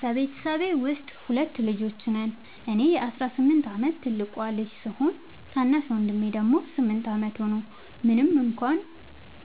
በቤተሰቤ ውስጥ ሁለት ልጆች ነን - እኔ የ18 ዓመት ትልቁ ልጅ ሲሆን፣ ታናሽ ወንድሜ ደግሞ 8 ዓመቱ ነው። ምንም እንኳን